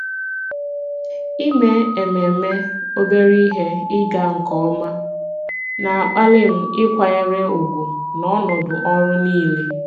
Ime ememe obere ihe ịga nke ọma na-akpali m ịkwanyere ùgwù n'ọnọdụ ọrụ niile.